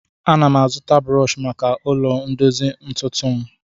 Ana m azụta brọọshị maka ụlọ ndozi ntụtụ m